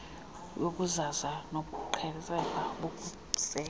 yobuzaza bobuqhetseba nobusela